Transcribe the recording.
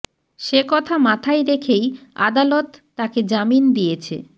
সে কথা মাথায় রেখেই আদালত তাঁকে জামিন দিয়েছে